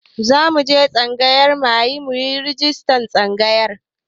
Zamu je tsangayar muyi rajistar tsangayar.